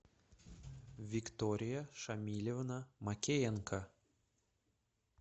виктория шамилевна макеенко